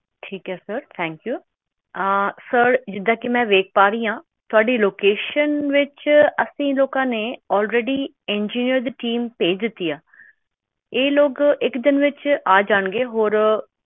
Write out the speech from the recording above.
ਠੀਕ ਹੈ sir thank you ਅਹ sir ਜਿਂਵੇ ਕੀ ਮੈਂ ਵੇਖ ਪਾ ਰਹੀ ਹਾਂ ਤੁਹਾਡੀ location ਅਸੀਂ ਲੋਕਾਂ ਨੇ engineer team ਭੇਜ ਦਿੱਤੀ ਹੈ ਇਹ ਲੋਕ ਇਕ ਦਿਨ ਵਿਚ ਆ ਜਾਣਗੇ ਹੋਰ